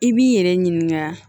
I b'i yɛrɛ ɲininka